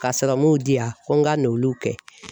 Ka serɔmuw di yan ko n ka n'olu kɛ